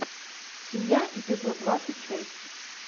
семья эпизод двадцать шесть